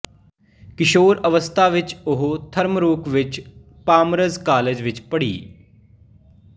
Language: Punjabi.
ਕਿਸ਼ੋਰ ਅਵਸਥਾ ਵਿੱਚ ਉਹ ਥਰਮਰੋਕ ਵਿੱਚ ਪਾਮਰਜ਼ ਕਾਲਜ ਵਿੱਚ ਵੀ ਪੜ੍ਹੀ